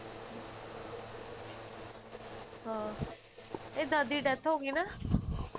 ਹਾਂ ਇਹਦੀ ਦਾਦੀ ਦੀ death ਹੋ ਗਈ ਨਾ